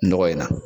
Nɔgɔ in na